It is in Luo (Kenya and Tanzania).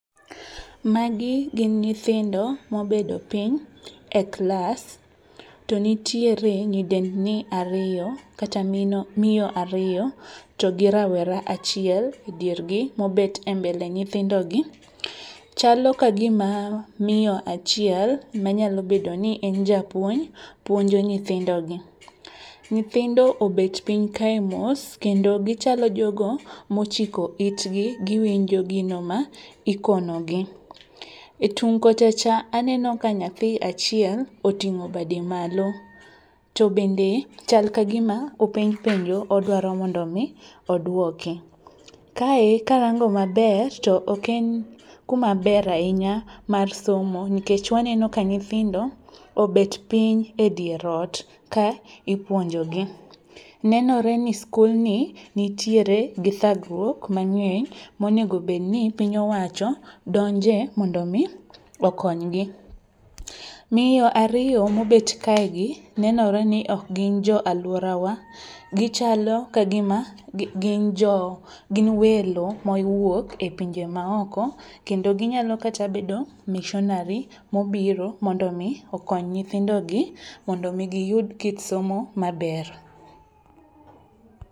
Magi gin nyithindo mobedo piny e klas, to nitiere nyidendni ariyo kata miyo ariyo to gi rawera achiel e diergi mobet e mbele nyithindogi. Chalo ka gima miyo achiel ma nyalo bedo ni en japuonj puonjo nyithindogi. Nyithindo obet piny kae mos kendo gichalo jogo mochiko itgi giwinjo gino ma ikonogi. E tung' kocha aneno ka nyathi achiel oting'o bade malo to bende chal ka gima openj penjo odwaro mondo mi oduoki. Kae karango maber to ok en ka maber ahinya mar somo nikech waneno ka nyithindo obet piny edier ot ka ipuonjogi. Nenore ni skulni nitiere gi thagruok mang'eny monengo obed ni piny owacho donje mondo mi okonygi. Miyo ariyo mobet kaegi, nenore ni ok gin joalworawa. Gichalo ka gima gin welo mowuok e pinje maoko kendo ginyalo kata bedo missionary mobiro mondo mi okony nyithindogi mondo mi giyud kit somo maber.